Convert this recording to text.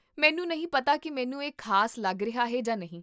ਮੈਨੂੰ ਨਹੀਂ ਪਤਾ ਕੀ ਮੈਨੂੰ ਇਹ ਖ਼ਾਸ ਲੱਗ ਰਿਹਾ ਹੈ ਜਾਂ ਨਹੀਂ